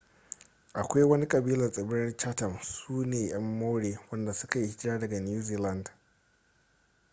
akwai wani kabila a tsibirir chatham sune yan maori wadanda suka yi hijira daga new zealand